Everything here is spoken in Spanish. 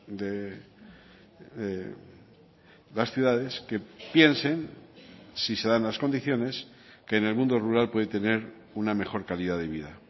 de las ciudades que piensen si se dan las condiciones que en el mundo rural puede tener una mejor calidad de vida